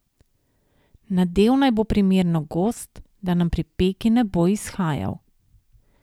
Nadev naj bo primerno gost, da nam pri peki ne bo izhajal.